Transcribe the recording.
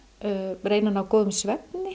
reyna að ná góðum svefni